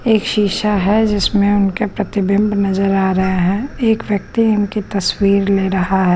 एक शीशा है जिसमें उनके प्रतिबिंब नजर आ रहे हैं एक व्यक्ति इनकी तस्वीर ले रहा है।